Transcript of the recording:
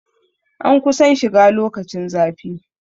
An kusan shiga lokacin zafi